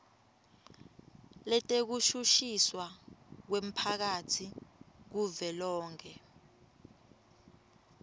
letekushushiswa kwemphakatsi kuvelonkhe